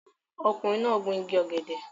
Ọkùnrin náà gun igi ọ̀gẹ̀dẹ̀